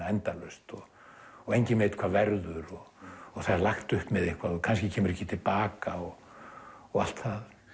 endalaust og og enginn veit hvað verður og það er lagt upp með eitthvað og kannski kemur ekki til baka og og allt það